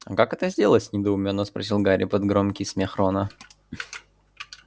а как это сделать недоумённо спросил гарри под громкий смех рона